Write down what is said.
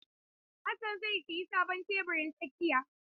Hassan zai sayi sabon tebirin tsakiya.